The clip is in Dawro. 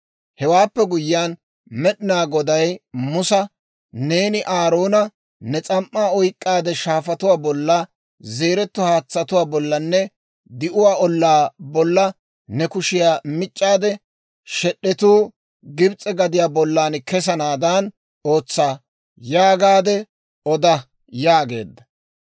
Hewaappe guyyiyaan Med'inaa Goday Musa, «Neeni Aaroona, ‹Ne s'am"aa oyk'k'aadde, shaafatuwaa bolla, zeereeto haatsatuwaa bollanne di'uwaa ollaa bolla ne kushiyaa mic'c'aade shed'etuu Gibs'e gadiyaa bollan kessanaadan ootsa› yaagaadde oda» yaageedda.